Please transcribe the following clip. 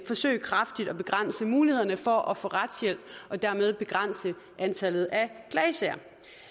forsøge kraftigt at begrænse mulighederne for at få retshjælp og dermed begrænse antallet af klagesager